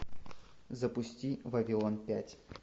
запусти вавилон пять